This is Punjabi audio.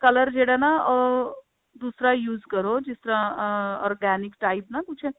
color ਜਿਹੜਾ ਨਾ ਅਹ ਦੂਸਰਾ use ਕਰੋ ਜਿਸ ਤਰ੍ਹਾਂ ਅਹ organic type ਨਾ ਕੁੱਝ